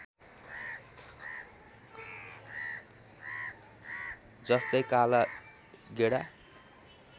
जस्तै काला गेडा